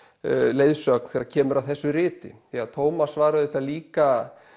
leiðsögn þegar kemur að þessu riti því að Thomas var auðvitað líka